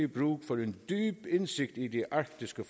brug for en dyb indsigt i de arktiske